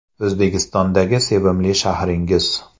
O‘zbekistondagi sevimli shahringiz?